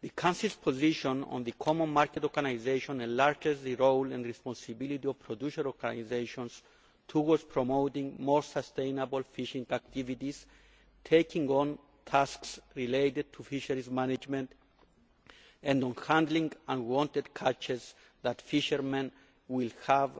The Council's position on the common market organisation enlarges the role and responsibility of producer organisations towards promoting more sustainable fishing activities, taking on tasks related to fisheries management and on handling unwanted catches that fishermen will have